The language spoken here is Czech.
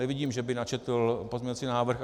Nevidím, že by načetl pozměňovací návrh.